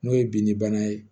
N'o ye binni bana ye